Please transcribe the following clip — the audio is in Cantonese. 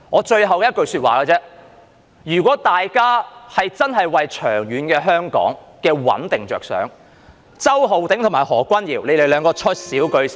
最後我只想說一句，如果大家真的為香港的長遠穩定着想，周浩鼎議員及何君堯議員兩人說少兩句便最好。